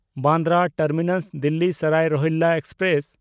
Bandra Terminus-Delhi Sarai Rohilla express